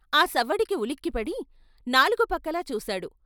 ఆ సవ్వడికి ఉలిక్కి పడి నాలుగు పక్కలా చూశాడు.